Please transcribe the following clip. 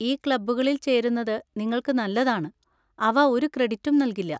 ഈ ക്ലബ്ബുകളിൽ ചേരുന്നത് നിങ്ങൾക്ക് നല്ലതാണ്, അവ ഒരു ക്രെഡിറ്റും നൽകില്ല.